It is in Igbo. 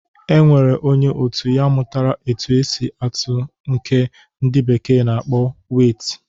E nwere onye otu ya mụtara otu esi atụ nke ndị bekee na-akpọ weit.